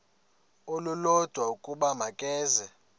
olulodwa ukuba makeze